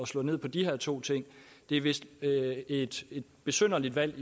slå ned på de her to ting det er vist et besynderligt valg